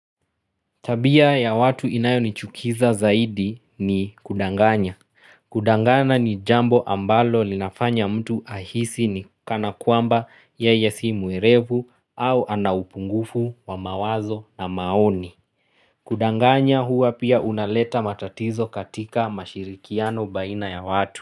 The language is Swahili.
Tabia ya watu inayo nichukiza zaidi ni kudanganya. Kudangana ni jambo ambalo linafanya mtu ahisi ni kukana kuamba yeye si mwerevu au anaupungufu wa mawazo na maoni. Kudanganya hua pia unaleta matatizo katika mashirikiano baina ya watu.